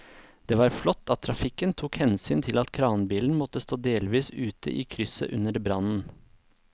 Det var flott at trafikken tok hensyn til at kranbilen måtte stå delvis ute i krysset under brannen.